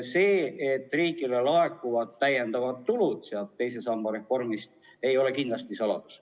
See, et riigile laekub teise samba reformist lisatulu, ei ole kindlasti saladus.